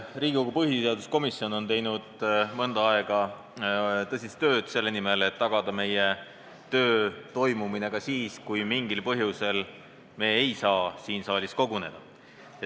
Riigikogu põhiseaduskomisjon on teinud mõnda aega tõsist tööd selle nimel, et tagada meie töö toimumine ka siis, kui me mingil põhjusel ei saa siin saalis koguneda.